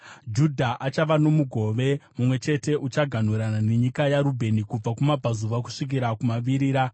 Judha achava nomugove mumwe chete; uchaganhurana nenyika yaRubheni kubva kumabvazuva kusvikira kumavirira.